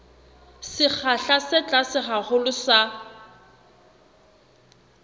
sekgahla se tlase haholo sa